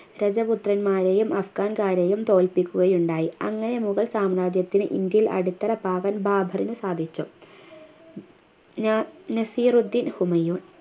രജപുത്രന്മാരെയും അഫ്‌ഗാൻകാരെയും തോല്പിക്കുകയുണ്ടായി അങ്ങനെ മുഗൾ സാമ്രാജ്യത്തിനു ഇന്ത്യയിൽ അടിത്തറ പാകാൻ ബാബറിന് സാധിച്ചു ന നസീറുദ്ദിൻ ഹുമയൂൺ